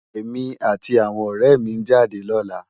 Emi áti áwòn òrè mi n jádè lòlá